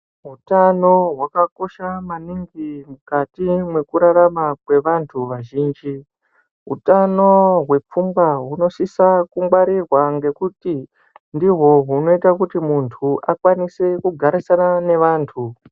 Utano hwakakosha maningi mukati mekurarama kwevantu vazhinji , utano hwepfungwa hunosisa kungwarirwa ngekuti ndihwo hunoita kuti muntu akwanise kugarisana nevantu.